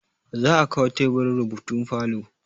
za a kawo teburin rubutu falo